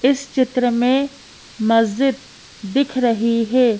इस चित्र में मस्जिद दिख रही है।